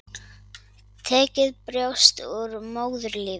Tekið brjóst og úr móðurlífi.